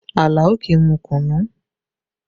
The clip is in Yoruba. Àlàó kì í mu kùnnú